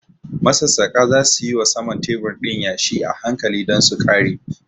Masassaƙa za su yi wa saman tebur ɗin yashi a hankali don su ƙare.